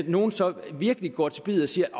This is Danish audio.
nogen så virkelig går til biddet og siger at